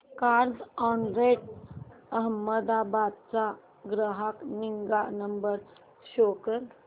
Carzonrent Ahmedabad चा ग्राहक निगा नंबर शो कर